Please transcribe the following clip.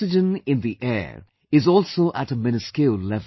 Oxygen in the air is also at a miniscule level